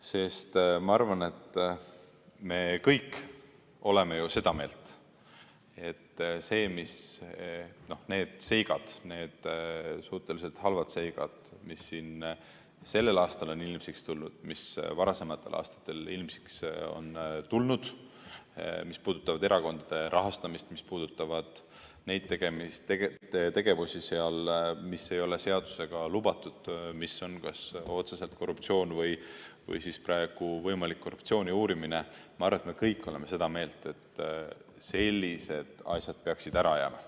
Sest ma arvan, et me kõik oleme ju seda meelt, et need suhteliselt halvad seigad, mis sellel aastal on ilmsiks tulnud ja mis varasematel aastatel on ilmsiks tulnud – need puudutavad erakondade rahastamist, puudutavad neid tegevusi, mis ei ole seadusega lubatud, mis on kas otseselt korruptsioon või seotud praegu võimaliku korruptsiooni uurimisega – sellised asjad peaksid ära jääma.